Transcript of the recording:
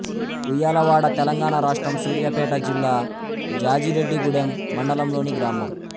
ఉయ్యాలవాడ తెలంగాణ రాష్ట్రం సూర్యాపేట జిల్లా జాజిరెడ్డిగూడెం మండలంలోని గ్రామం